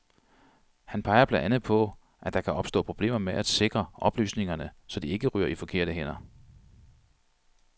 Han peger blandt andet på, at der kan opstå problemer med at sikre oplysningerne, så de ikke ryger i forkerte hænder.